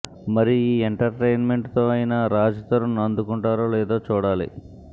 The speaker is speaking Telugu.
మరి ఈ ఎంటర్టైన్మెంట్ తో అయినా రాజ్ తరుణ్ అందుకుంటారో లేదో చూడాలి